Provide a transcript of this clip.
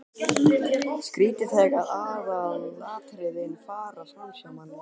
Skrýtið þegar aðalatriðin fara framhjá manni!